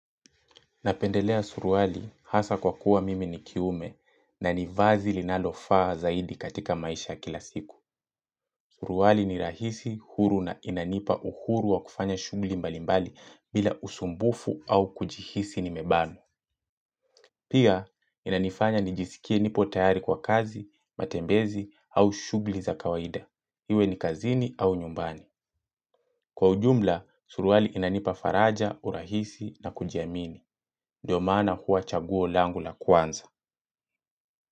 Napendelea suruali hasaa kwa kuwa mimi ni kiume na nivazi linalofaa zaidi katika maisha ya kila siku. Suruali ni rahisi, huru na inanipa uhuru wa kufanya shugli mbalimbali bila usumbufu au kujihisi nimebana. Pia, inanifanya nijisikie nipo tayari kwa kazi, matembezi au shugli za kawaida. Iwe ni kazini au nyumbani. Kwa ujumla, suruali inanipa faraja, urahisi na kujiamini. Ndio maana huwa chaguo langu la kwanza.